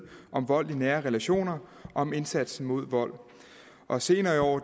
om vold i nære relationer og om indsatsen mod vold og senere i år